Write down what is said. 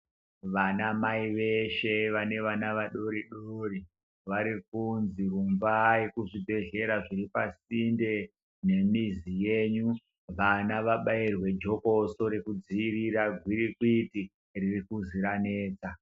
Vana mai veshe vane vana vadoridori vari kunzi rumbai kuzvibhehlera zviri pasinde nemizi yenyu vana vabairwe jokoso rekudzivirira gwirikwiti ririkuzi ranesa.